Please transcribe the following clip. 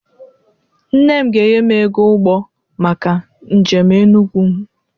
Nne m ga-enye m ego ụgbọ maka njem Enugwu m.